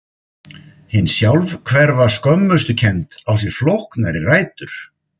Hin sjálfhverfa skömmustukennd á sér flóknari rætur.